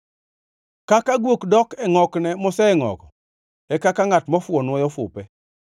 Kaka guok dok e ngʼokne mosengʼogo e kaka ngʼat mofuwo nwoyo fupe.